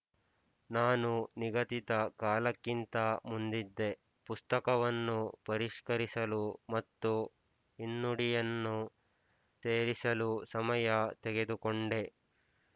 ನಾನು ನಿಗದಿತ ಕಾಲಕ್ಕಿಂತ ಮುಂದಿದ್ದೆ ಪುಸ್ತಕವನ್ನು ಪರಿಷ್ಕರಿಸಲು ಮತ್ತು ಹಿನ್ನುಡಿಯನ್ನು ಸೇರಿಸಲು ಸಮಯ ತೆಗೆದುಕೊಂಡೆ